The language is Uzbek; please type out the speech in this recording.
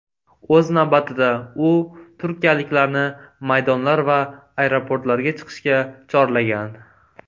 O‘z navbatida, u turkiyaliklarni maydonlar va aeroportlarga chiqishga chorlagan.